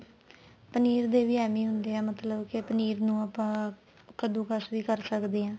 ਪਨੀਰ ਦੇ ਵੀ ਏਵੈ ਈ ਹੁੰਦੇ ਏ ਮਤਲਬ ਕੀ ਪਨੀਰ ਨੂੰ ਆਪਾਂ ਕੱਦੁਕਸ ਵੀ ਕਰ ਸਕਦੇ ਆ